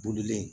Bolilen